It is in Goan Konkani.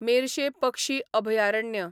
मेर्शें पक्षी अभयारण्य